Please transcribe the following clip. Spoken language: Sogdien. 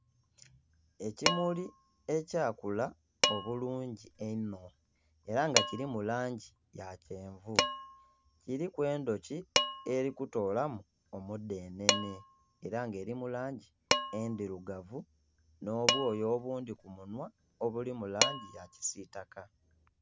Ekimuli ekya kula obulungi eihno era nga kirimu langi ya kyenvu kiriku endoki erikutolamu omudenene era nga eri mulangi endirugavu no bwoya obundi ku munwa obuli mulangi ya kisitaka